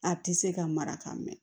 A tɛ se ka mara ka mɛn